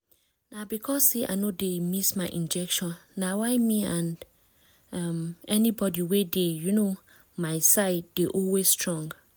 na because say i no dey miss my injection na why me and um anybody wey dey um my side dey always strong